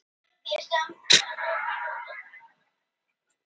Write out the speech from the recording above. bærinn hörgshlíð í mjóafirði í ísafjarðardjúpi